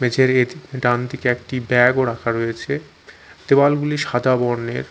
মেঝের এদ ডান দিকে একটি ব্যাগ -ও রাখা রয়েছে দেওয়ালগুলি সাদা বর্ণের।